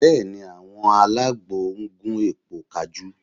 Bẹ́ẹ̀ ni, àwọn alágbo ń gún èpo kajú